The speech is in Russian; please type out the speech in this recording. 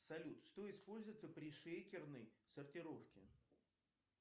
салют что используется при шейкерной сортировке